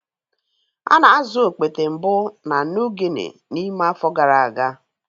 A na-azụ okpete mbụ na New Guinea n'ime afọ gara aga.